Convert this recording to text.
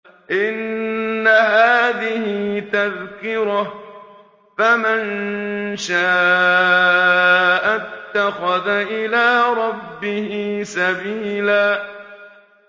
إِنَّ هَٰذِهِ تَذْكِرَةٌ ۖ فَمَن شَاءَ اتَّخَذَ إِلَىٰ رَبِّهِ سَبِيلًا